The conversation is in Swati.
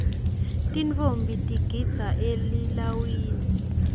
tintfombi tigidza elilawini